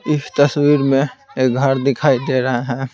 इस तस्वीर में एक घर दिखाई दे रहा है।